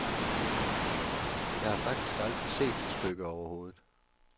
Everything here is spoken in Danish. Jeg har faktisk aldrig set det stykke overhovedet.